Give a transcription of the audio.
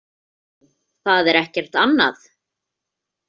Nú, það er ekkert annað.